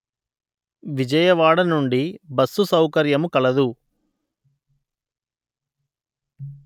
విజయవాడ నుండి బస్సు సౌకర్యము కలదు